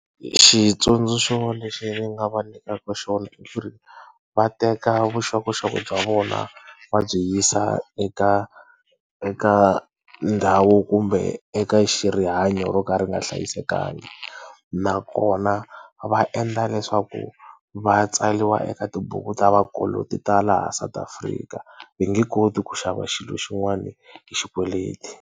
Xitsundzuxo lexi ndzi nga va nyikaka xona i ku ri, va teka vuxokoxoko bya vona va byi yisa eka eka ndhawu kumbe eka rihanyo ro ka ri nga hlayisekanga nakona va endla leswaku va tsariwa eka tibuku ta vakoloti ta laha South Afrika. I nge koti ku xava xilo xin'wana hi xikweleti.